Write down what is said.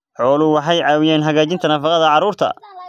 Xooluhu waxay caawiyaan hagaajinta nafaqada carruurta.